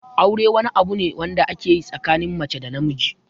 Aure wani abu ne wanda ake yi tsakanin mace da namiji.